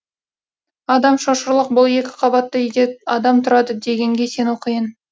адам шошырлық бұл екі қабатты үйде адам тұрады дегенге сену қиын